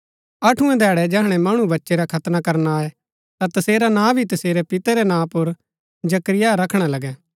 अठुऐं धैड़ै जैहणै मणु बच्चै रा खतना करना आये ता तसेरा नां भी तसेरै पितै रै नां पुर जकरिया रखणा लगै